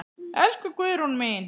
Elsku Guðrún mín.